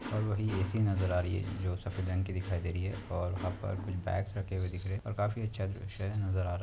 अ वही एसी नजर आ रही है जो सफ़ेद रंग की दिखाई है और अप्पर कुछ बैग्स रखे हुये दिख रहे है और काफी अच्छा दृश्य नजर आ--